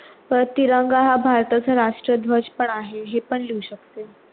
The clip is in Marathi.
ते तिरंगा हा भारताचा राष्ट्र ध्वज पण आहे हे पण लिव्ह शकते